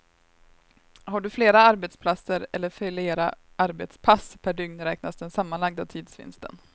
Har du flera arbetsplatser eller flera arbetspass per dygn räknas den sammanlagda tidsvinsten.